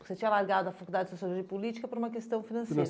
Você tinha largado a Faculdade de Sociologia e Política para uma questão financeira.